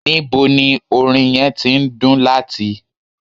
Nibo ni orin yẹn ti ndun lati?